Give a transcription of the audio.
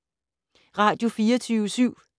Radio24syv